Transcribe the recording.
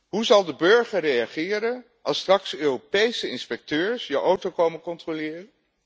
Hoe zal de burger reageren als straks Europese inspecteurs je auto komen controleren?